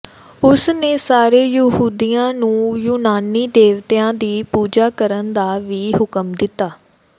ਉਸ ਨੇ ਸਾਰੇ ਯਹੂਦੀਆਂ ਨੂੰ ਯੂਨਾਨੀ ਦੇਵਤਿਆਂ ਦੀ ਪੂਜਾ ਕਰਨ ਦਾ ਵੀ ਹੁਕਮ ਦਿੱਤਾ